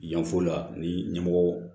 Yanfo la ni ɲɛmɔgɔ